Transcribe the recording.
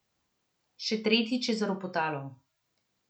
Še tretjič je zaropotalo.